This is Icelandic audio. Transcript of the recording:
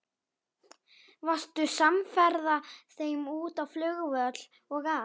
Varstu samferða þeim út á flugvöll og allt?